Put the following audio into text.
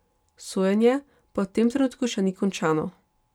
Sojenje pa v tem trenutku še ni končano.